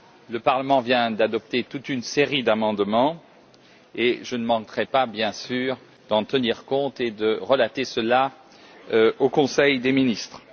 Le Parlement vient d'adopter toute une série d'amendements, et je ne manquerai pas bien sûr d'en tenir compte et de le rapporter au Conseil des ministres.